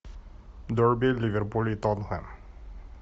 дерби ливерпуль и тоттенхэм